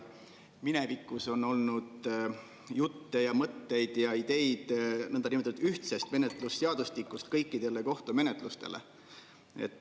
Minevikus on olnud jutte ja mõtteid ja ideid nõndanimetatud ühtsest menetlusseadustikust kõikidele kohtumenetlustele.